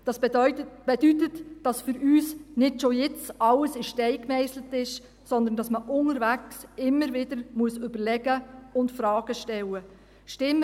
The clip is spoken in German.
Dies bedeutet, dass für uns nicht schon jetzt alles in Stein gemeisselt ist, sondern dass man unterwegs immer wieder überlegen und Fragen stellen muss: